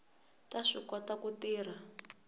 ta swi kota ku tirha